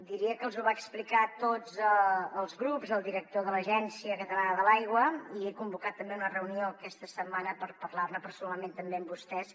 diria que els ho va explicar a tots els grups el director de l’agència catalana de l’aigua i he convocat també una reunió aquesta setmana per parlar ne personalment també amb vostès